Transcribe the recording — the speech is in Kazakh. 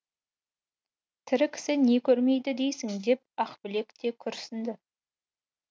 тірі кісі не көрмейді дейсің деп ақбілек те күрсіңді